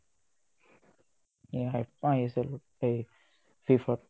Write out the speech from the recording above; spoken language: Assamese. এই আহিছিল এই FIFA ত